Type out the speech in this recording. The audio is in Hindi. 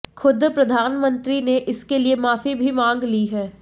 खुद प्रधानमंत्री ने इसके लिए माफी भी मांग ली है